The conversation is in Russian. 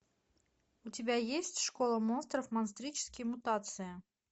у тебя есть школа монстров монстрические мутации